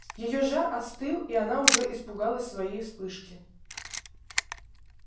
её жар остыл и она уже испугалась своей вспышки